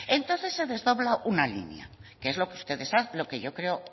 entonces se desdobla una línea que es lo que ustedes yo